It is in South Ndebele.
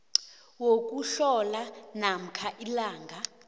wokuhlola namkha ilanga